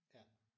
Ja